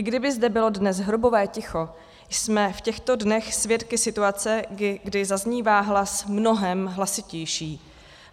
I kdyby zde bylo dnes hrobové ticho, jsme v těchto dnech svědky situace, kdy zaznívá hlas mnohem hlasitější.